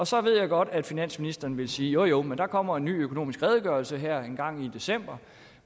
så ved jeg godt at finansministeren vil sige jo jo men der kommer en ny økonomisk redegørelse her engang i december